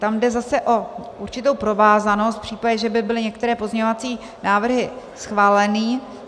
Tam jde zase o určitou provázanost, v případě, že by byly některé pozměňovací návrhy schváleny.